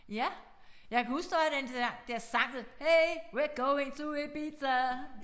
Ja jeg kan huske der var den der der sang hey we're going to Ibiza